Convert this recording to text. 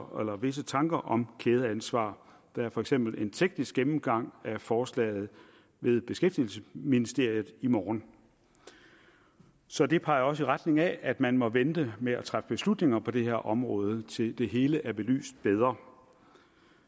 visse tanker om kædeansvar der er for eksempel en teknisk gennemgang af forslaget ved beskæftigelsesministeriet i morgen så det peger også i retning af at man må vente med at træffe beslutninger på det her område til det hele er belyst bedre